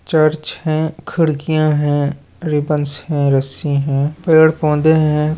Church है खिड़कियां है रिबनस है रस्सी है पेड़ पौधे हैं।